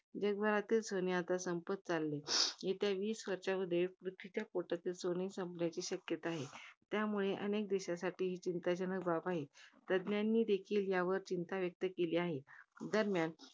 जगभरातील सोने आता संपत चाललेले. येत्या वीस वर्षामध्ये पृथ्वीच्या पोटातील सोने संपण्याच्या शक्यता आहे. त्यामुळे अनेक देशांसाठी ही चिंताजनक बाब आहे. तज्ञांनी देखील यावर चिंता व्यक्त केली आहे. दरम्यान